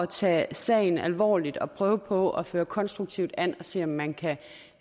tage sagen alvorligt og prøve på at føre konstruktivt an og se om man kan